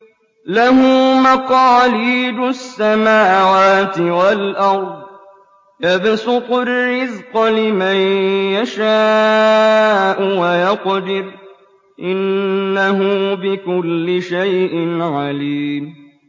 لَهُ مَقَالِيدُ السَّمَاوَاتِ وَالْأَرْضِ ۖ يَبْسُطُ الرِّزْقَ لِمَن يَشَاءُ وَيَقْدِرُ ۚ إِنَّهُ بِكُلِّ شَيْءٍ عَلِيمٌ